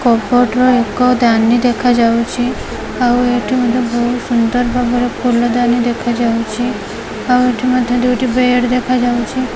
Cupboard ର ଏକ ଦାନୀ ଦେଖାଯାଉଚି ଆଉ ଏଠି ମଧ୍ୟ ବହୁତ ସୁନ୍ଦର ଭାବରେ ଫୁଲଦାନୀ ଦେଖାଯାଉଚି ଆଉ ଏଠି ମଧ୍ୟ ଦୁଇଟି ବେଡ଼ ଦେଖାଯାଉଚି।